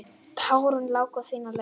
Tárin láku sína leið.